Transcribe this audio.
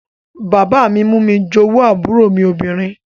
Bàbá mi mú mi jowú àbúrò mi obìnrin